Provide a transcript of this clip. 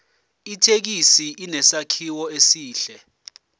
ithekisi inesakhiwo esihle